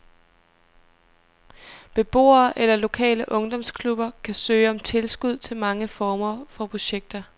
Beboere eller lokale ungdomsklubber kan søge om tilskud til mange former for projekter.